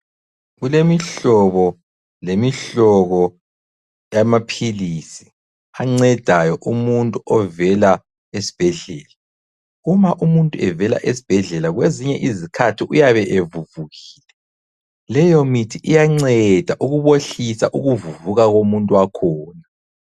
Kulemihlobo lemihlobo yamaphilisi ancedayo umuntu ovela esibhedlela. Uma umuntu evela esibhedlela kwezinye izikhathi uyabe evuvukile, leyomithi iyanceda ukubohlisa ukuvuvuka komuntu wakhona.